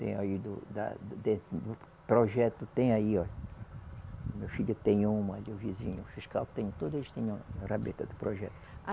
Tem aí do da, dentro do projeto, tem aí ó, meu filho tem uma ali, o vizinho fiscal tem, todos tem uma rabeta do projeto. Ah